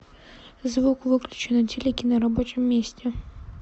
звук выключи на телике на рабочем месте